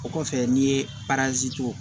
O kɔfɛ n'i ye parazi to